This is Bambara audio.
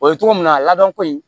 O ye cogo min na a labɛnko in